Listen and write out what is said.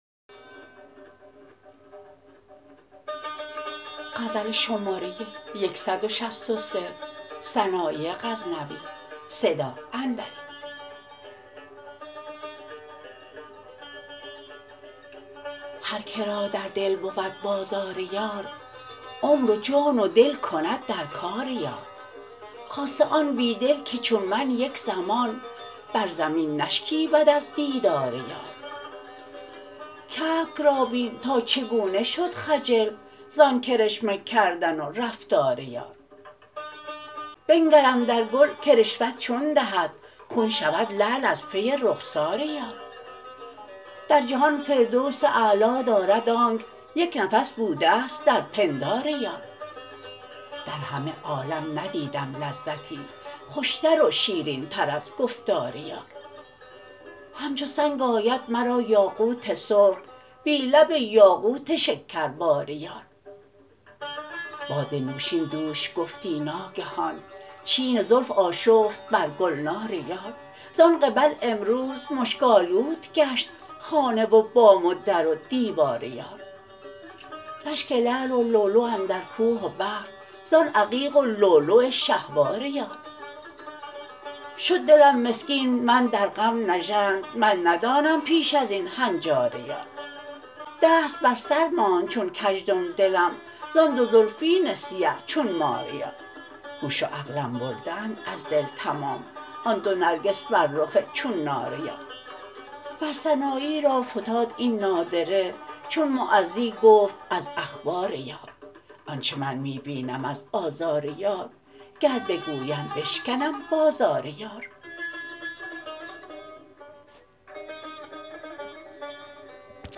هر کرا در دل بود بازار یار عمر و جان و دل کند در کار یار خاصه آن بی دل که چون من یک زمان بر زمین نشکیبد از دیدار یار کبک را بین تا چگونه شد خجل زان کرشمه کردن و رفتار یار بنگر اندر گل که رشوت چون دهد خون شود لعل از پی رخسار یار در جهان فردوس اعلا دارد آنک یک نفس بودست در پندار یار در همه عالم ندیدم لذتی خوشتر و شیرین تر از گفتار یار همچو سنگ آید مرا یاقوت سرخ بی لب یاقوت شکربار یار باد نوشین دوش گفتی ناگهان چین زلف آشفت بر گلنار یار زان قبل امروز مشک آلود گشت خانه و بام و در و دیوار یار رشک لعل و لولو اندر کوه و بحر زان عقیق و لولو شهوار یار شد دلم مسکین من در غم نژند من ندانم پیش ازین هنجار یار دست بر سر ماند چون کژدم دلم زان دو زلفین سیه چون مار یار هوش و عقلم برده اند از دل تمام آن دو نرگس بر رخ چون نار یار مر سنایی را فتاد این نادره چون معزی گفت از اخبار یار آنچه من می بینم از آزار یار گر بگویم بشکنم بازار یار